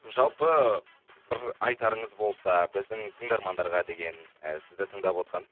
жалпы бір айтарыңыз болса біздің тыңдармандарға деген ііі сізді тыңдавотқан